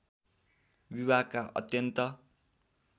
विभागका अत्यन्त